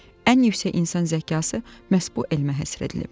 Ən yüksək insan zəkası məhz bu elmə həsr edilib.